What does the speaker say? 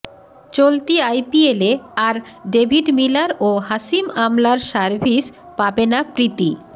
চলতি আইপিএলে আর ডেভিড মিলার ও হাসিম আমলার সার্ভিস পাবে না প্রীতি